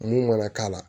Mun mana k'a la